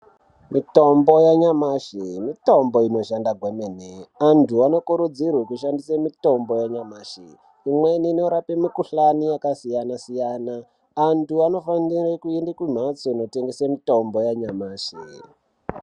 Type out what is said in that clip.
Mutombo yanyamashi mutombo unoshanda kwemene. Antu anokuridzirwe kushandise mutombo yanyamashi. Imweni inorapa mukhuhlani yakasiyana siyana. Antu anofanire kuenda kumhatso kunotengese mitombo yanyamashi.